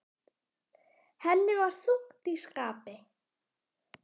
Henni var þungt í skapi.